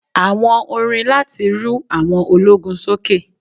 Àwọn orin láti rú àwọn ológun sókè.